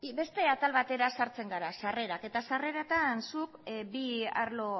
beste atal batera sartzen gara sarrerak eta sarreretan zuk bi arlo